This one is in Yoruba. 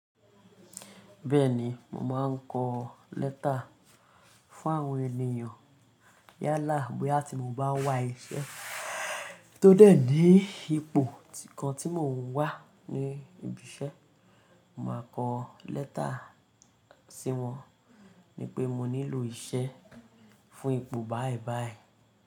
Bẹ́ẹ̀ni, mo màá kọ lẹ́tà fún àwọn ènìyàn yálà bóyá tí mo bá wà iṣẹ́ tó dẹ̀ ní ipò kan tí mò ń wà ní ibi iṣẹ́, màá kọ lẹ́tà sí wọn ni pé mo nílò iṣẹ́ fún ipò báìbàì.